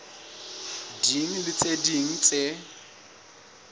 ding le tse ding tse